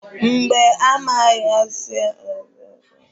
Mba, amaghị m ka esi etinye foto na statọs Wasap.